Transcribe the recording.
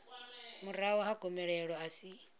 murahu ha gomelelo a si